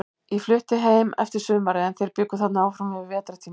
Ég flutti heim eftir sumarið, en þeir bjuggu þarna áfram yfir vetrartímann.